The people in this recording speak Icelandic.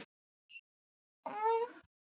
Blessuð sé minning Kollu.